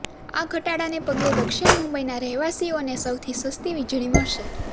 આ ઘટાડાને પગલે દક્ષિણ મુંબઈના રહેવાસીઓને સૌથી સસ્તી વીજળી મળશે